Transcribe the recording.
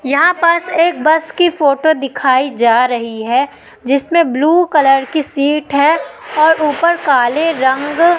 यहां पास एक बस की फोटो दिखाई जा रही है जिसमें ब्ल्यू कलर की सीट है और ऊपर काले रंग--